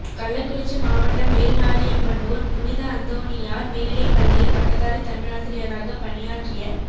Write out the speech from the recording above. கள்ளக்குறிச்சி மாவட்டம் மேல்நாரியப்பனூர் புனித அந்தோணியார் மேல் நிலைப்பள்ளியில் பட்டதாரி தமிழாசிரியராகப் பணியாற்றிய